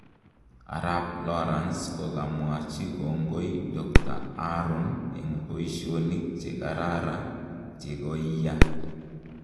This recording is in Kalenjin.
Arap Lorance kokamwachi kongoi Dkt Haron eng paishonik che karara chekoiyaa.